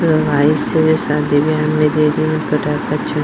जो शादी बिआहा में पताका छुरी --